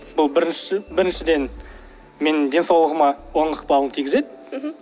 бұл бірінші біріншіден менің денсаулығыма оң ықпалын тигізеді мхм